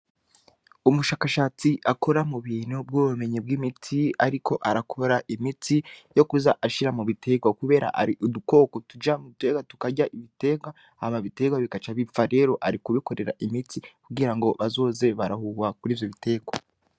Umushakashatsi akora mu bintu bw'ubumenyi bw'imiti ariko arakora imiti yo kuza ashira mu biterwa kubera hari udukoko tuja mu biterwa tukarya ibiterwa hama ibiterwa bigaca bipfa. Rero ari kubikorera imiti kugira bazoze barahuha kuri ivyo biterwa.